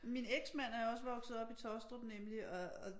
Min eksmand er også vokset op i Taastrup nemlig og